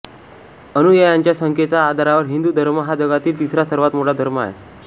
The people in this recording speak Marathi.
अनुयायांचा संख्येच्या आधारावर हिंदू धर्म हा जगातील तिसरा सर्वात मोठा धर्म आहे